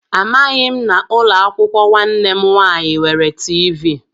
Amaghị m na ụlọakwụkwọ nwanne m nwaanyị nwere tiivii